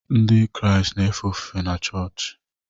Ndị Kraịst na-efe ofufe n’choochi.